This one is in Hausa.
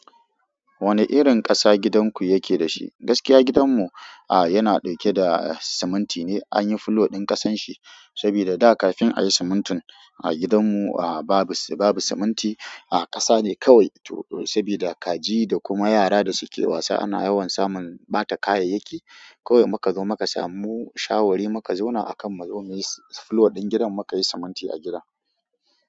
Wane irin ƙasa gidan ku yake da shi? Gaskiya gidan mu, a yana ɗauke da siminti ne, an yi fulor ɗin ƙasan shi, sabida da kafin ayi simintin a gidan mu, a babu, babu siminti a ƙasa ne kawai, sabida kaji da kuma yara da suke wasa ana yawan samun ɓata kayayyaki. Kawai muka zo muka samu shawari muka zauna akan mu zo muyi fulo ɗin gidan muka yi siminti a gidan.